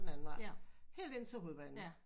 Den anden vej helt ind til hovedbanen